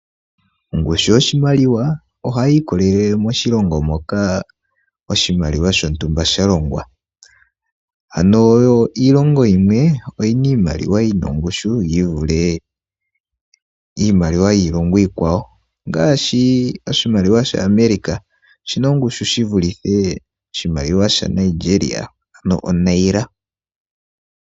Ongushu yoshimaliwa ohayi ikolele moshilongo moka oshimaliwa shontumba sha longwa. Ano yo iilongo yimwe oyina iimaliwa yina ongushu yi vule iimaliwa yiilongo iikwawo ongaashi oshimaliwa sha America oshina ongushu shi vulithe oshimaliwa sha Nigeria ano Nairobi.